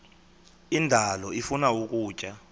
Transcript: indalo ifuna ukutya